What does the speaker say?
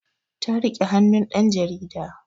Ta rike hannun ɗan jarida